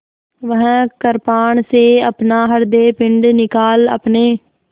वह कृपाण से अपना हृदयपिंड निकाल अपने